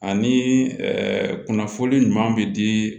Ani kunnafoni ɲuman bɛ di